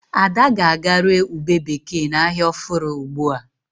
Ada ga-aga re ụbe bekee na ahia ọfụrụ ugbua